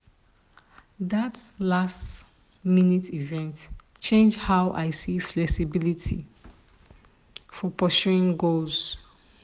that last-minute event change how i see flexibility for pursuing goals.